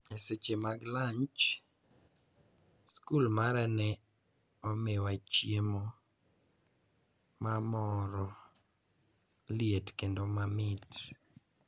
E seche mag lanj, skul mara ne omiwa chiemo mamoro liet kendo mamit